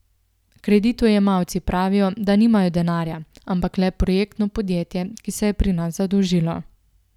Kreditojemalci pravijo, da nimajo denarja, ampak le projektno podjetje, ki se je pri nas zadolžilo.